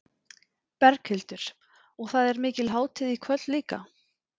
Berghildur: Og það er mikil hátíð í kvöld líka?